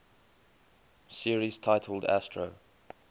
series titled astro